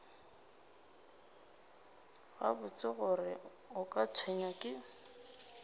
gabotse gore o tshwenywa ke